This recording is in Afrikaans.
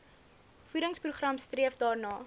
voedingsprogram streef daarna